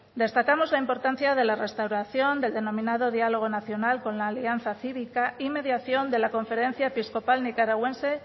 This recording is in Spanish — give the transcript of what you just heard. destacamos la importancia de la restauración del denominado diálogo nacional con la alianza cívica y mediación de la conferencia episcopal nicaragüense